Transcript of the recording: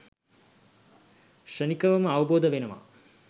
ක්ෂණිකවම අවබෝධ වෙනව